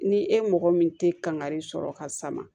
Ni e mɔgɔ min tɛ kankari sɔrɔ ka sama